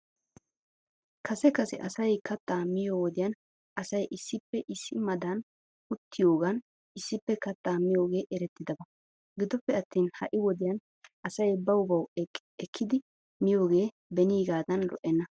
Kase kase asay kattaa miyoo wodiyan asay issippe issi maaddan uttiyoogan issippe kattaa miyoogee erettidaba. Gidioppe attin ha'i wodiyan asay baw baw ekkidi miyoogee beniigaadan lo'enna.